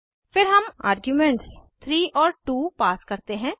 फिर हम आर्ग्यूमेंट्स 3 और 2 पास करते हैं